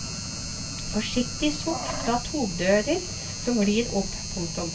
Forsiktige sukk fra togdører som glir opp. punktum